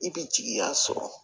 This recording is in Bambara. I bɛ jigiya sɔrɔ